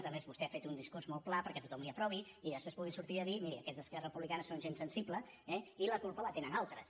a més vostè ha fet un discurs molt pla perquè tothom li ho aprovi i després puguin sortir a dir mirin aquests d’esquerra republicana són gent sensible eh i la culpa la tenen altres